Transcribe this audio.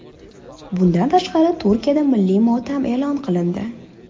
Bundan tashqari, Turkiyada milliy motam e’lon qilindi .